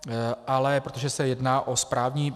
Ale protože se jedná o správní...